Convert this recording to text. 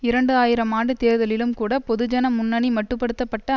இரண்டு ஆயிரம் ஆண்டு தேர்தலிலும் கூட பொதுஜன முன்னணி மட்டு படுத்த பட்ட